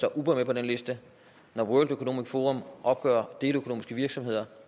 er uber med på den liste når world economic forum opgør deleøkonomiske virksomheder